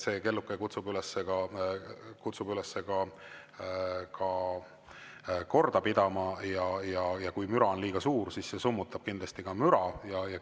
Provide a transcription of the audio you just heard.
See kelluke kutsub üles ka korda pidama ja kui müra on liiga suur, siis see kindlasti summutab müra.